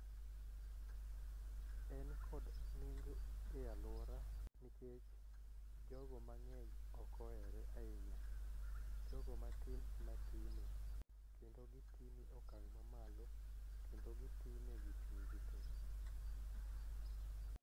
En kod nengo e aluora nikech jogo mang'eny ok ohere ahinya jogo matin ema pime kendo gi pime e okang mamalo kendo gi pime gi chuny gi te